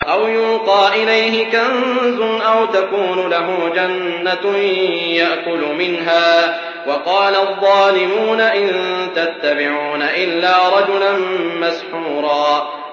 أَوْ يُلْقَىٰ إِلَيْهِ كَنزٌ أَوْ تَكُونُ لَهُ جَنَّةٌ يَأْكُلُ مِنْهَا ۚ وَقَالَ الظَّالِمُونَ إِن تَتَّبِعُونَ إِلَّا رَجُلًا مَّسْحُورًا